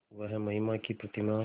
वह महिमा की प्रतिमा